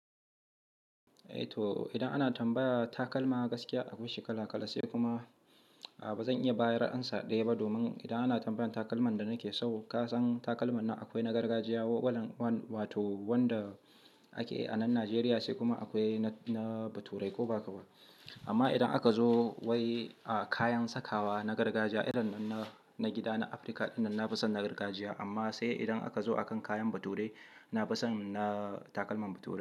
Eh to idan ana tambaya takalma gaskiya akwaishi kala kala sai kuma a bazan iya bayar da amsa ɗaya ba domin idan ana tambayar takalman da nake so, kasan takalman na akwai na gargajiya wato wanda ake a nan Najeriya sai kuma akwai na bature ko bahakaba. Amma idan aka zo wai kayan sakawa na gargajiya irin na gida na Afirka idan na fi son na gargajiya amma sai idan aka zo a kan kayan bature, na fi son na takalman bature.